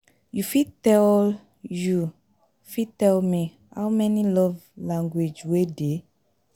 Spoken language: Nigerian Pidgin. you fit tell you, fit tell me how many love language wey dey?